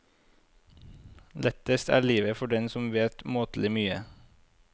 Lettest er livet for den som vet måtelig mye.